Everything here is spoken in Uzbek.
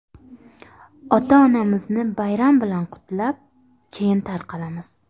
Ota-onamizni bayram bilan qutlab, keyin tarqalamiz.